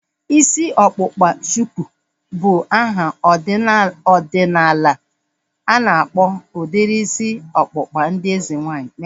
Isi ọkpụkpa shuku bụ aha ọdịnala ana akpọ udiri isi ọkpụkpa ndị eze nwaanyị